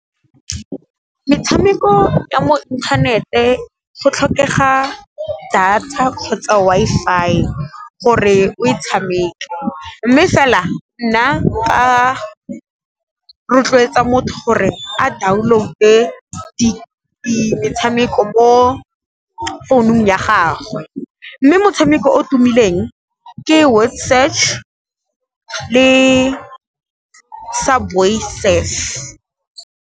Metshameko ya mo inthanete go tlhokega data kgotsa Wi-Fi gore o e tshameke, mme fela nna nka rotloetsa motho gore a download-e metshameko mo founung ya gagwe, mme motshameko o tumileng ke one Word Search le Subway Surf.